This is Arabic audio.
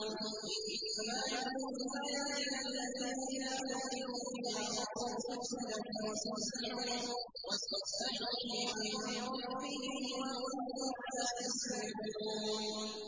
إِنَّمَا يُؤْمِنُ بِآيَاتِنَا الَّذِينَ إِذَا ذُكِّرُوا بِهَا خَرُّوا سُجَّدًا وَسَبَّحُوا بِحَمْدِ رَبِّهِمْ وَهُمْ لَا يَسْتَكْبِرُونَ ۩